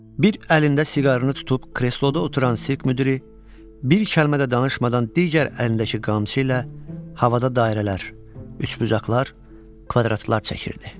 Bir əlində siqarını tutub kresloda oturan sirk müdiri, bir kəlmə də danışmadan digər əlindəki qamçı ilə havada dairələr, üçbucaqlar, kvadratlar çəkirdi.